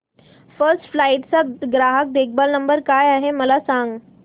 first flight चा ग्राहक देखभाल नंबर काय आहे मला सांग